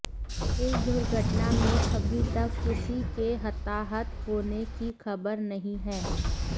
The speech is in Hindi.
इस दुर्घटना में अभी तक किसी के हताहत होने की खबर नहीं है